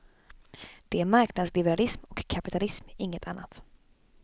Det är marknadsliberalism och kapitalism, inget annat.